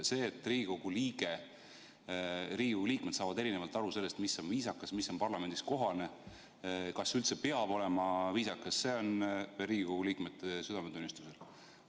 See, et Riigikogu liikmed saavad eri moodi aru sellest, mis on viisakas ja mis on parlamendis kohane ning kas üldse peab olema viisakas, jääb Riigikogu liikmete südametunnistusele.